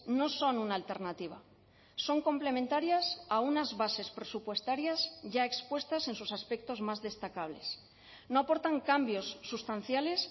no son una alternativa son complementarias a unas bases presupuestarias ya expuestas en sus aspectos más destacables no aportan cambios sustanciales